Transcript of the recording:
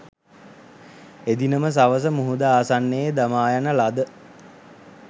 එදින ම සවස මුහුද ආසන්නයේ දමායන ලද